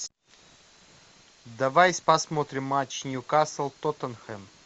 давай посмотрим матч ньюкасл тоттенхэм